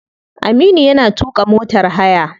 Aminu yana tuka motar haya.